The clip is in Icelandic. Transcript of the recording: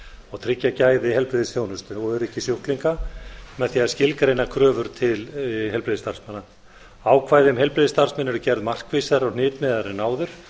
og tryggja gæði heilbrigðisþjónustu og öryggi sjúklinga með því að skilgreina kröfur til heilbrigðisstarfsmanna ákvæði um heilbrigðisstarfsmenn eru gerð markvissari og hnitmiðaðri en áður